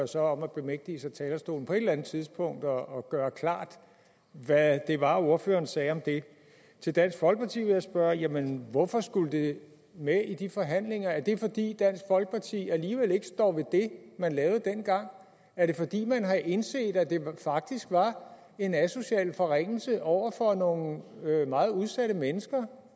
så at bemægtige sig talerstolen på et eller andet tidspunkt og gøre klart hvad det var ordføreren sagde om det det dansk folkeparti vil jeg spørge jamen hvorfor skulle det med i de forhandlinger er det fordi dansk folkeparti alligevel ikke står ved det man lavede dengang er det fordi man har indset at det faktisk var en asocial forringelse over for nogle meget udsatte mennesker